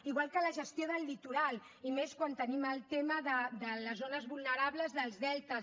igual que la gestió del litoral i més quan tenim el tema de les zones vulnerables dels deltes